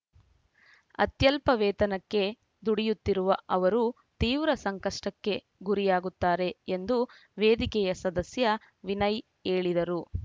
ಅತ್ಯಲ್ಪ ವೇತನಕ್ಕೆ ದುಡಿಯುತ್ತಿರುವ ಅವರು ತೀವ್ರ ಸಂಕಷ್ಟಕ್ಕೆ ಗುರಿಯಾಗುತ್ತಾರೆ ಎಂದು ವೇದಿಕೆಯ ಸದಸ್ಯ ವಿನಯ್‌ ಹೇಳಿದರು